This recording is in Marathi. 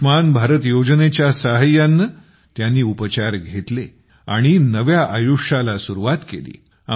आयुष्मान भारत योजनेच्या सहाय्याने त्यांनी उपचार केले आणि नव्या आयुष्याला सुरूवात केली